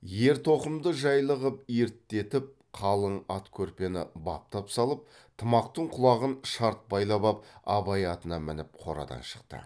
ер тоқымды жайлы қып ерттетіп қалың ат көрпені баптап салып тымақтың құлағын шарт байлап ап абай атына мініп қорадан шықты